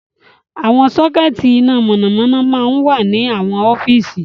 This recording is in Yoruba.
Àwọn sockets iná mọ̀nàmọ́ná máa ń wà ní àwọn ọ́fíìsì.